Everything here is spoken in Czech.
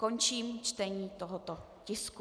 Končím čtení tohoto tisku.